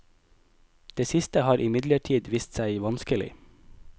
Det siste har imidlertid vist seg vanskelig.